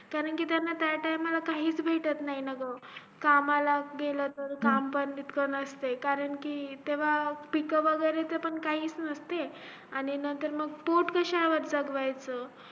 कारकी त्यानं त्या time ला काहीच भेटत नाही ना ग कमला गेलं कि काम पण इतका नसत कराकी तेव्हा पीक वैगेरे पण काही नसते आणि नंतर मग पोट कशावर जागवायचं